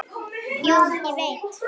Og jú, ég veit.